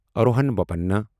Rohan Bopanna